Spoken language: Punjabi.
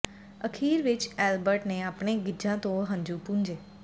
ਅਖ਼ੀਰ ਵਿਚ ਐਲਬਰਟ ਨੇ ਆਪਣੇ ਗਿੱਛਾਂ ਤੋਂ ਹੰਝੂ ਪੂੰਝੇ